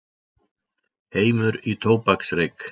Heimur í tóbaksreyk.